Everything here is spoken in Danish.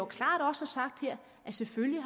klart har sagt her selvfølgelig